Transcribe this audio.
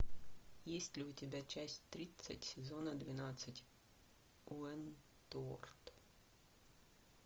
есть ли у тебя часть тридцать сезона двенадцать уэнтуорт